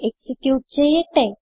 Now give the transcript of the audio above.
execute ചെയ്യട്ടെ